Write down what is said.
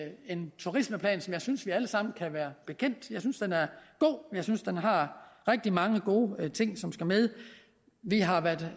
det en turismeplan som jeg synes vi alle sammen kan være bekendt jeg synes den er god jeg synes den har rigtig mange gode ting som skal med vi har været